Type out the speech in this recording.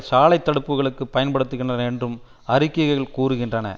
சாலை தடுப்புக்களுக்குப் பயன்படுத்துகின்றனர் என்றும் அறிக்கைகள் கூறுகின்றன